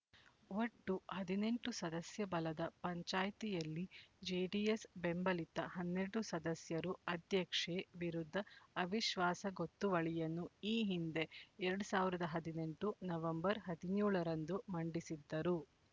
ಒಟ್ಟು ಹದಿನೆಂಟು ಸದಸ್ಯ ಬಲದ ಪಂಚಾಯ್ತಿಯಲ್ಲಿ ಜೆಡಿಎಸ್ ಬೆಂಬಲಿತ ಹನ್ನೆರಡು ಸದಸ್ಯರು ಅಧ್ಯಕ್ಷೆ ವಿರುದ್ದ ಅವಿಶ್ವಾಸ ಗೊತ್ತುವಳಿಯನ್ನು ಈ ಹಿಂದೆ ಎರಡ್ ಸಾವಿರದ ಹದಿನೆಂಟು ನವೆಂಬರ್ ಹದಿನ್ಯೋಳ ರಂದು ಮಂಡಿಸಿದ್ದರು